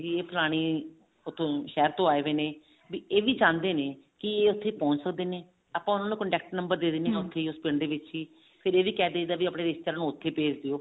ਵੀ ਫਲਾਣੇ ਉੱਥੋਂ ਸ਼ਹਿਰ ਤੋਂ ਆਏ ਹੋਏ ਨੇ ਵੀ ਇਹ ਵੀ ਚਹੁੰਦੇ ਨੇ ਕੀ ਇਹ ਉੱਥੇ ਪਹੁੰਚ ਸਕਦੇ ਨੇ ਆਪਾਂ ਉਹਨਾ ਨੂੰ contact ਦੇ ਦਿੰਨੇ ਆਂ ਕਿਉਂਕਿ ਉਸ ਪਿੰਡ ਵਿੱਚ ਹੀ ਫ਼ੇਰ ਇਹ ਵੀ ਕਿਹ ਦਈਦਾ ਆਪਣੇ ਰਿਸ਼ਤੇਦਾਰਾਂ ਨੂੰ ਉੱਥੇ ਹੇਜ ਦਿਓ